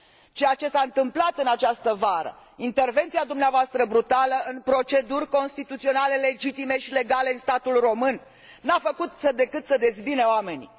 Ceea ce s a întâmplat în această vară, intervenția dumneavoastră brutală în proceduri constituționale legitime și legale în statul român, nu a făcut decât să dezbine oamenii.